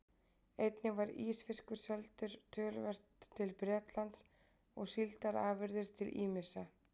Einnig var ísfiskur seldur töluvert til Bretlands og síldarafurðir til ýmissa